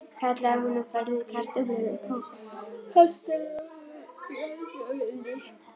kallaði hún og færði kartöflur upp úr kastarolunni á eldavélinni.